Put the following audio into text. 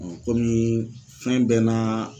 kɔmi fɛn bɛɛ n'a